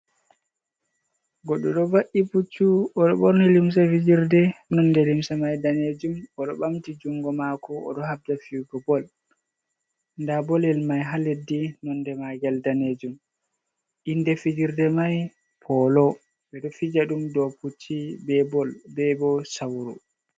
Goɗɗo ɗo va’i puccu, o ɗo ɓorni limse fijirde nonde limse mai danejum. O ɗo ɓamti jungo maako, o oɗo habda figo bol. Nda bolyel mai haa leddi nonde maa ngel danejum. Inde fijirde mai polo. Ɓe ɗo fija ɗum dou pucci be bo sauru.